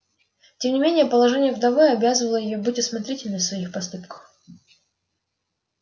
тем не менее положение вдовы обязывало её быть осмотрительной в своих поступках